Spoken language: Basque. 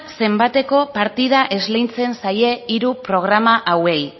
zenbateko partida esleitzen zaie hiru programa hauei